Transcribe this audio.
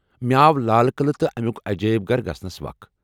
مےٚ آو لال قلعہٕ تہٕ امیُك عجٲیب گھر گژھنس وخ ۔